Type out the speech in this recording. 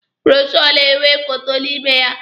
Bụrọshoo na-enwe foto n'ime ya.